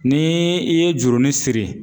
Ni i ye jurunin siri.